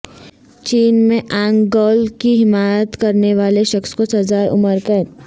چین میں ink girl کی حمایت کرنے والے شخص کو سزائے عمر قید